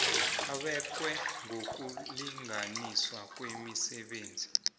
ebekwe ngokulinganiswa kwemisebenzi